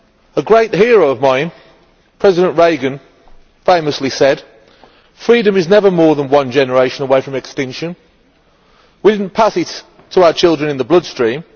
A great hero of mine, President Reagan, famously said Freedom is never more than one generation away from extinction. We didn't pass it to our children in the bloodstream.